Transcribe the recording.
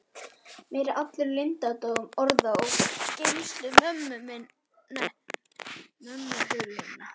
Mér er allur leyndardómur orða og gleymsku mömmu hulinn.